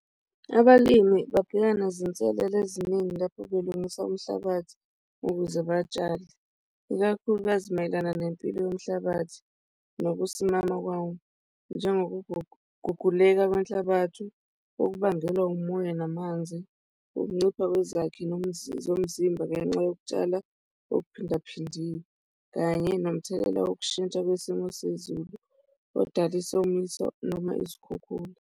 Abalimi babhekana nezinselele eziningi lapho belungise umhlabathi ukuze batshale ikakhulukazi mayelana nempilo yomhlabathi nokusimama kwawo, njengokuguguleka kwenhlabathi okubangelwa umoya namanzi, ukuncipha kwezakhi zomzimba ngenxa yokutshala okuphindaphindiwe kanye nomthelela wokushintsha kwesimo sezulu odala, isomiso noma izikhukhula.